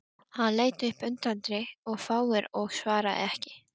Hann leit upp undrandi og fár og svaraði ekki.